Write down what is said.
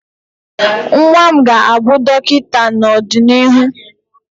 nwa m ga-abụ dọkịta n'ọdịnihu